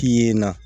Yen na